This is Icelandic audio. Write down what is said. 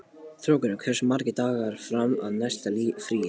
Þórgunnur, hversu margir dagar fram að næsta fríi?